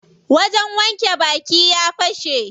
Wajen wanke baki ya fashe.